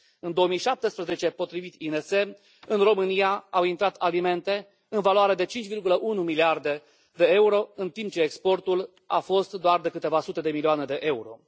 În 2017, potrivit INS, în România au intrat alimente în valoare de 5,1 miliarde de euro, în timp ce exportul a fost doar de câteva sute de milioane de euro.